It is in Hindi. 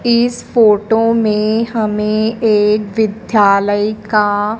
इस फोटो में हमें एक विद्यालय का--